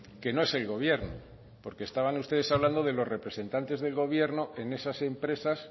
que no es el gobierno porque estaban ustedes hablando de los representantes del gobierno en esas empresas